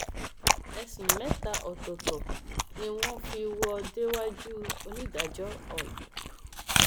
ẹsùn mẹta ọtọọtọ ni wọn fi wò ó déwájú onídàájọ cs] oy